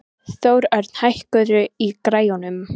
Þórörn, hækkaðu í græjunum.